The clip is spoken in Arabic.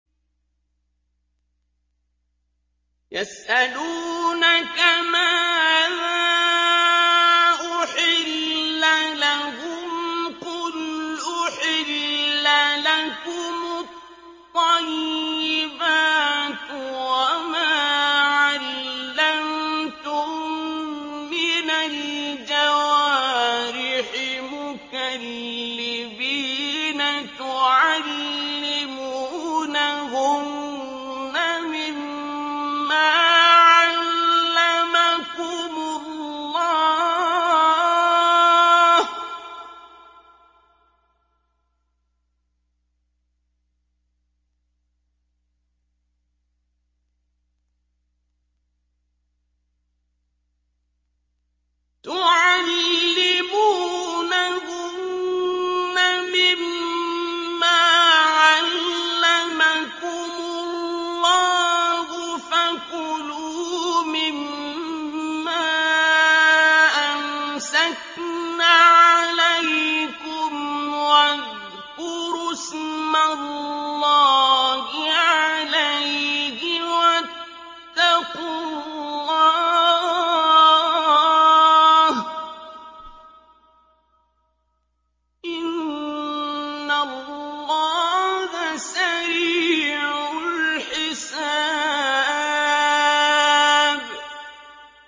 يَسْأَلُونَكَ مَاذَا أُحِلَّ لَهُمْ ۖ قُلْ أُحِلَّ لَكُمُ الطَّيِّبَاتُ ۙ وَمَا عَلَّمْتُم مِّنَ الْجَوَارِحِ مُكَلِّبِينَ تُعَلِّمُونَهُنَّ مِمَّا عَلَّمَكُمُ اللَّهُ ۖ فَكُلُوا مِمَّا أَمْسَكْنَ عَلَيْكُمْ وَاذْكُرُوا اسْمَ اللَّهِ عَلَيْهِ ۖ وَاتَّقُوا اللَّهَ ۚ إِنَّ اللَّهَ سَرِيعُ الْحِسَابِ